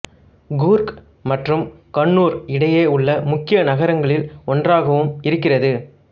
கூர்க் மற்றும் கண்ணூர் இடையே உள்ள முக்கிய நகரங்களில் ஒன்றாகவும் இருக்கிறது